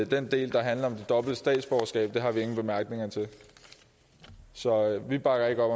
den del der handler om dobbelt statsborgerskab har vi ingen bemærkninger så vi bakker ikke